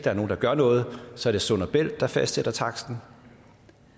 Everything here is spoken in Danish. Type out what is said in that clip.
er nogen der gør noget så er det sund bælt der fastsætter taksten